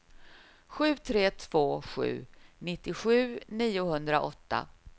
sju tre två sju nittiosju niohundraåtta